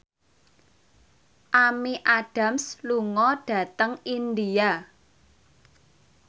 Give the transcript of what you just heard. Amy Adams lunga dhateng India